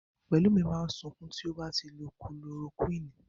Pẹ̀lúmi máa sunkún tó bá lo Kulorokúìnì.